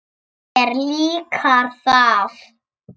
Mér líkar það.